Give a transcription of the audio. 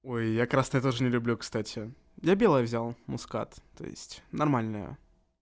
ой я красное я тоже не люблю кстати я белое взял мускат то есть нормальное